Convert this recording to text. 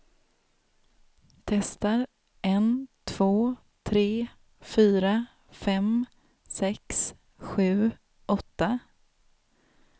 Testar en två tre fyra fem sex sju åtta.